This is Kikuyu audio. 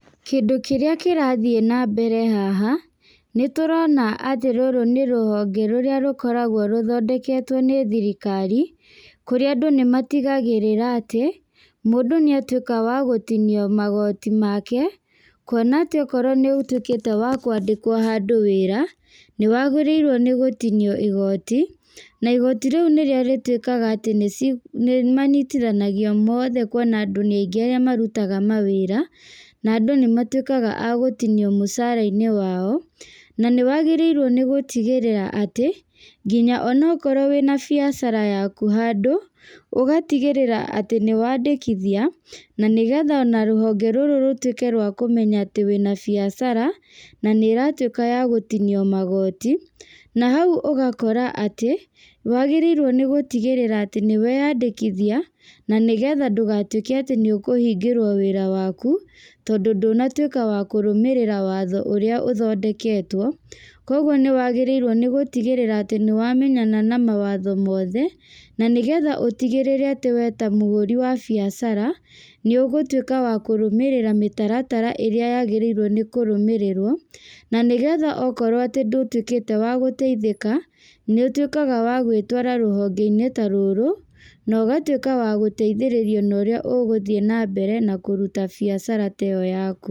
Kĩndũ kĩrĩa kĩrathiĩ na mbere haha, nĩ tũrona atĩ rũrũ nĩ rũhonge rũrĩa rũkoragwo rũthondeketwo nĩ thirikari. Kũrĩa andũ nĩ matigagĩrĩra atĩ, mũndũ nĩ atuĩka wa gũtinio magooti make. Kuona atĩ okorwo nĩ ũtuĩkĩte wa kwandĩkwo handũ wĩra, nĩ wagĩrĩirwo nĩ gũtinio igooti, na igooti rĩu nĩrĩo rĩtuĩkaga atĩ nĩ nĩ manyitithanagio mothe kuona andũ nĩ aingĩ arĩa marutaga mawĩra. Na andũ nĩ matuĩkaga a gũtinio mũcara-inĩ wao, na nĩ wagĩrĩirwo nĩ gũtigĩrĩra atĩ, nginya onokorwo wĩna biacara yaku handũ, ũgatigĩrĩra atĩ nĩ wandĩkithia, na nĩgetha ona rũhonge rũrũ rũtuĩke rwa kũmenya atĩ wĩna biacara, na nĩ ĩratuĩka ya gũtinio magooti. Na hau ũgakora atĩ, nĩ wagĩrĩirwo nĩ gũtigĩrĩra atĩ nĩ weyandĩkithia, na nĩgetha ndũgatuĩke atĩ nĩ ũkũhingĩrwo wĩra waku, tondũ ndũnatuĩka wa kũrũmĩrĩra watho ũrĩa ũthondeketwo. Kũguo nĩ wagĩrĩirwo nĩ gũtigĩrĩra atĩ nĩ wamenyana na mawatho mothe, na nĩgetha ũtigĩrĩre atĩ we ta mũhũri wa biacara, nĩ ũgũtuĩka wa kũrũmĩrĩra mĩtaratara ĩrĩa yagĩrĩirwo nĩ kũrũmĩrĩrwo. Na nĩgetha okorwo atĩ ndũtuĩkĩte wa gũteithĩka, nĩ ũtuĩkaga wa gwĩtwara rũhonge-inĩ ta rũrũ, na ũgatuĩka wa gũteithĩrĩrio na ũrĩa ũgũthiĩ na mbere na kũruta biacara ta ĩyo yaku